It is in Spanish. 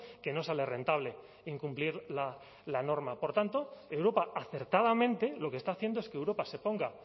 que no sale rentable incumplir la norma por tanto europa acertadamente lo que está haciendo es que europa se ponga